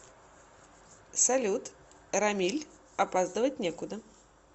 салют рамиль опаздывать некуда